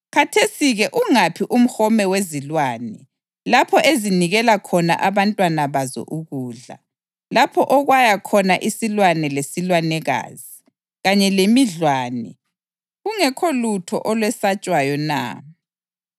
Khathesi-ke ungaphi umhome wezilwane, lapho ezinikela khona abantwana bazo ukudla, lapho okwaya khona isilwane lesilwanekazi, kanye lemidlwane, kungekho lutho olwesatshwayo na?